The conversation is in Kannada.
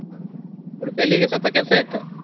Udupi ಅಲ್ಲಿ ಹೀಗೆ ಸ್ವಲ್ಪ ಕೆಲ್ಸ ಇತ್ತು.